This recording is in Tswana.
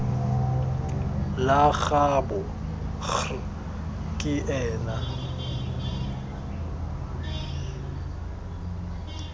la gaabo kgr ke ena